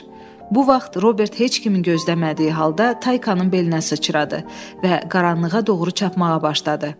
Bu vaxt Robert heç kimi gözləmədiyi halda Taykanın belinə sıçradı və qaranlığa doğru çapmağa başladı.